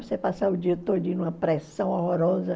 Você passar o dia todo numa pressão horrorosa.